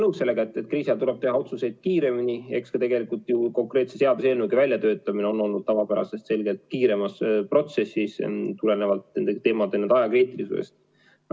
Ma olen nõus, et kriisi ajal tuleb teha otsuseid kiiremini ja eks konkreetse seaduseelnõu väljatöötamine ongi olnud tavapärasest selgelt kiirem, tulenevalt nende teemade ajakriitilisusest.